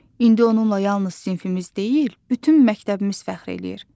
İndi onunla yalnız sinfimiz deyil, bütün məktəbimiz fəxr eləyir.